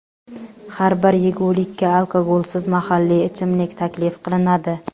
Har bir yegulikka alkogolsiz mahalliy ichimlik taklif qilinadi.